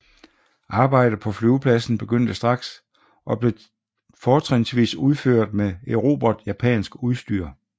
Arbejdet på flyvepladsen begyndte straks og blev fortrinsvis udført med erobret japansk udstyr